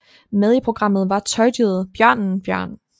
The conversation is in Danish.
Med i programmet var tøjdyret bjørnen Bjørn